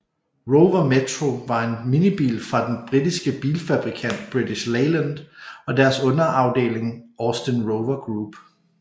Rover Metro var en minibil fra den britiske bilfabrikant British Leyland og deres underafeling Austin Rover Group